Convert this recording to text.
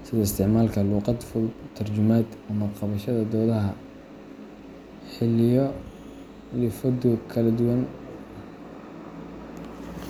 sida isticmaalka luqad fudud, tarjumaad, ama qabashada doodaha xilliyo kala duwan.